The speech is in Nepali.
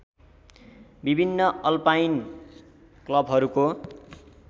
विभिन्न अल्पाइन क्लबहरूको